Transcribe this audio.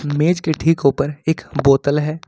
मेज के ठीक ऊपर एक बोतल है।